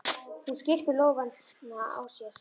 Hún skyrpir í lófana á sér.